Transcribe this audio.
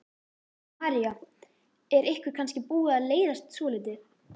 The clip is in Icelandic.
María: Er ykkur kannski búið að leiðast svolítið?